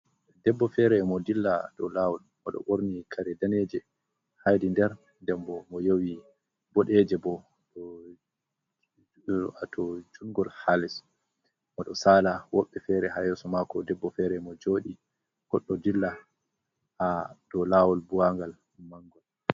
Debbo fere mo dilla do lawol, mo ɗo borni kare daneje haidi nder ndembo mo yowi bodeje bo ato jurgol ha les, mo ɗo sala woɓɓe fere ha yeso mako debbo fere mo joɗi, goɗɗo dilla ha do lawol buwangal mango.